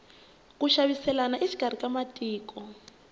ku xaviselana exikarhi ka matiko